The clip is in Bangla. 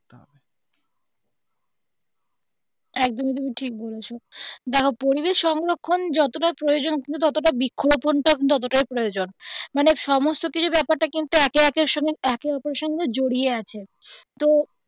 একদমই তুমি ঠিক বলেছো দেখো পরিবেশ সংরক্ষণ যতটা প্রয়োজন ততটা বৃক্ষরোপন টাও প্রয়োজন মানে সমস্ত কিছু ব্যাপারটা একে অপরের সঙ্গে জড়িয়ে আছে তো.